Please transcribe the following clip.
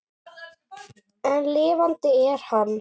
En lifandi er hann.